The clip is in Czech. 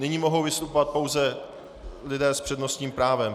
Nyní mohou vystupovat pouze lidé s přednostním právem.